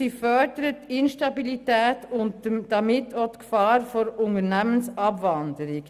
Sie fördert die Instabilität und damit die Gefahr der Unternehmensabwanderung.